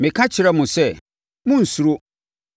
Na meka kyerɛɛ mo sɛ, “Monnsuro!